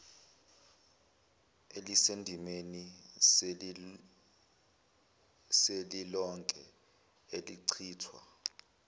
elisendimeni selilonke elichithwa